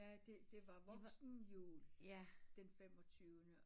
Ja det var voksen jul den femogtyvende